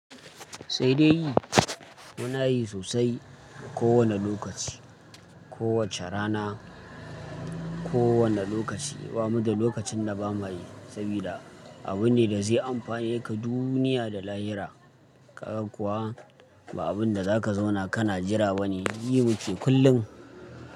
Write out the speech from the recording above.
Sai dai, muna yi sosai kowane lokaci, kowace rana, kowane lokaci. Bamu da lokacin na ba mayi saboda abu ne da zai amfane ka duniya da lahira ka kuma ba abin da za ka zauna ka na jira ba ne, yi muke kullum.